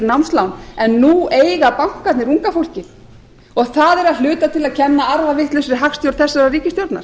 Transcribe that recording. námslán en nú eiga bankarnir unga fólkið og það er að hluta til að kenna arfavitlausri hagstjórn þessarar ríkisstjórnar